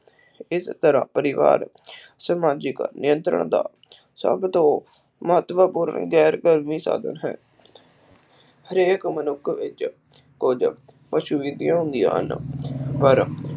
ਇਸ ਤਰ੍ਹਾਂ ਪਰਿਵਾਰ ਸਮਾਜਿਕ ਨਿਯੰਤਰਣ ਦਾ ਸਭ ਤੋਂ ਮਹੱਤਵਪੂਰਨ ਗੈਰ ਕਾਨੂੰਨੀ ਸਾਧਨ ਹੈ ਹਰੇਕ ਮਨੁੱਖ ਵਿਚ ਕੁਝ ਹੁੰਦੀਆਂ ਹਨ।